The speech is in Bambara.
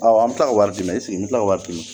Ɔ an bɛ tila ka wari di yan esike n be kila ka wari di